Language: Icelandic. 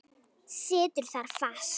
Situr þar fast.